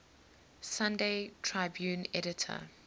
sunday tribune editor